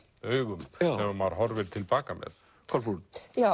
augum sem maður horfir til baka með Kolbrún